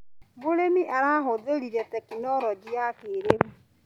Mũrĩmi arahũthĩrire tekinologĩ ya kĩrĩu.